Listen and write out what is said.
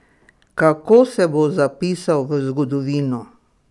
Kako se bo zapisal v zgodovino?